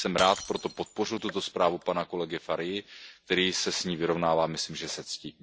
Rád jsem proto podpořil tuto zprávu pana kolegy Farii, který se s ní vyrovnává, myslím, že se ctí.